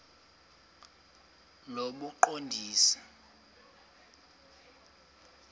lobuqondisi